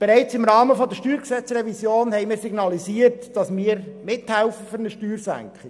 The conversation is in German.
Bereits im Rahmen der Revision des Steuergesetzes (StG) haben wir signalisiert, dass wir bei der Steuersenkung mithelfen.